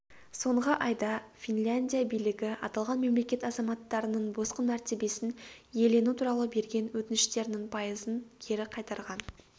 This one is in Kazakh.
соңғы айда финляндия билігі аталған мемлекет азаматтарының босқын мәртебесін иелену туралы берген өтініштерінің пайызын кері қайтарған